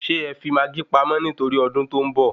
Sè é fi maágí pamọ́ nitori odun to ń bọ̀?